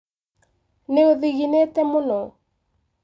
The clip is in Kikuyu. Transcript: Nĩ ũthinginĩte mũno